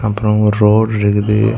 அப்புறம் ஒரு ரோடு இருக்குது.